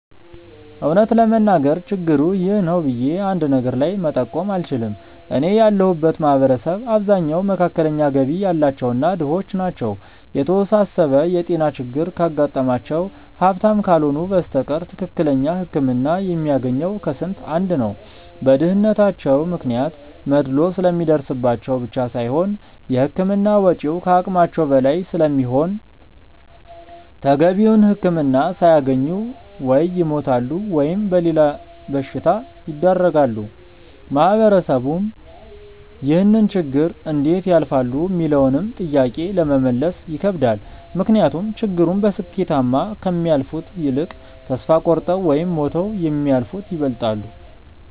እውነት ለመናገር ችግሩ 'ይህ ነው' ብዬ አንድ ነገር ላይ መጠቆም አልችልም። እኔ ያለሁበት ማህበረሰብ አብዛኛው መካከለኛ ገቢ ያላቸው እና ድሆች ናቸው። የተወሳሰበ የጤና ችግር ካጋጠማቸው ሀብታም ካልሆኑ በስተቀር ትክክለኛ ህክምና የሚያገኘው ከስንት አንድ ነው። በድህነታቸው ምክንያት መድሎ ስለሚደርስባቸው ብቻ ሳይሆን የህክምና ወጪው ከአቅማቸው በላይ ስለሚሆን ተገቢውን ህክምና ሳያገኙ ወይ ይሞታሉ ወይም ለሌላ በሽታ ይዳረጋሉ። ማህበረሰቡም ይህንን ችግር እንዴት ያልፋሉ ሚለውንም ጥያቄ ለመመለስ ይከብዳል። ምክንያቱም ችግሩን በስኬታማ ከሚያልፉት ይልቅ ተስፋ ቆርጠው ወይም ሞተው የሚያልፉት ይበልጣሉ።